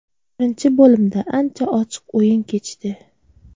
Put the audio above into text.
Birinchi bo‘limda ancha ochiq o‘yin kechdi.